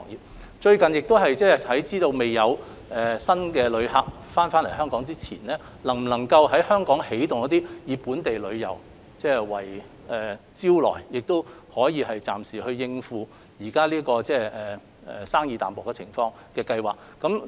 政府最近看到並考慮在未有新旅客訪港前，能否在香港推動本地旅遊，以本地旅遊來作為招徠，藉此暫時應付現時旅遊業生意淡薄的情況。